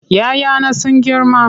"ya 'ya na sun girma.